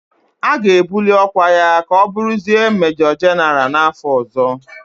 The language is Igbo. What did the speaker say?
A ga-ebuli ọkwa ya ka ọ bụrụzie Mejọ Jịnara n'afọ ọzọ.